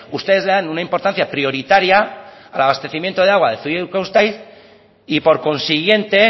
ustedes le dan una importancia prioritaria al abastecimiento de agua de zuia y urkabustaiz y por consiguiente